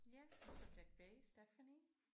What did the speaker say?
Ja og subjekt B Stephanie